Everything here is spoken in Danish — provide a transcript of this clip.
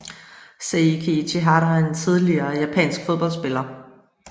Seiki Ichihara er en tidligere japansk fodboldspiller